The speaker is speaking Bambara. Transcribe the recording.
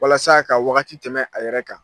Walasa ka wagati tɛmɛ a yɛrɛ kan.